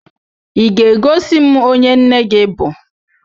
Ị ga-egosi m onye nne gị bụ?